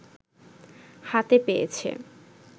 হাতে পেয়েছে